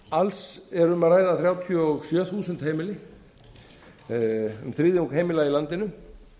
alls er um að ræða þrjátíu og sjö þúsund heimili um þriðjung heimila í landinu